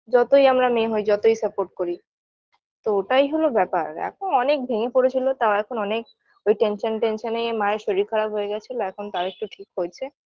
যতই আমরা মেয়ে হই যতই support করি তো ওটাই হলো ব্যাপার এখন অনেক ভেঙে পরেছিল তাও এখন অনেক ওই tension tension -এই মা-এর শরীর খারাপ হয়ে গেছিলো এখন তাও একটু ঠিক হয়েছে